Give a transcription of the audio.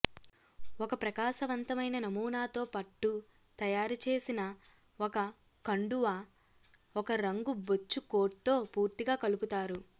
ఒక ప్రకాశవంతమైన నమూనాతో పట్టు తయారు చేసిన ఒక కండువా ఒక రంగు బొచ్చు కోట్తో పూర్తిగా కలుపుతారు